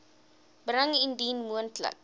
bring indien moontlik